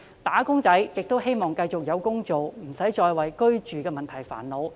"打工仔"希望繼續有工做，不需要再為居住的問題煩惱。